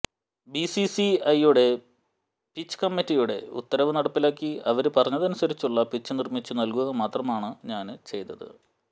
BCCI pitch കമ്മിറ്റിയുടെ ഉത്തരവ് നടപ്പിലാക്കി അവര് പറഞ്ഞതനുസരിച്ചുള്ള പിച്ച് നിര്മിച്ചു നല്കുക മാത്രമാണ് ഞാന് ചെയ്തത്